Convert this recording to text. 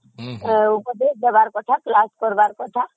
ଉପଦେଶ ଦେବାର କଥା